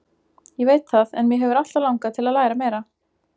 Ég veit það en mig hefur alltaf langað til að læra meira.